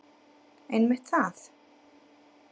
Einmitt það.